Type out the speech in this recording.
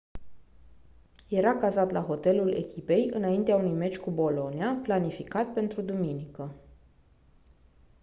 era cazat la hotelul echipei înaintea unui meci cu bologna planificat pentru duminică